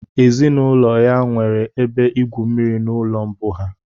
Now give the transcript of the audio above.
Ezinụlọ ya nwere ebe igwu mmiri n'ụlọ mbụ ha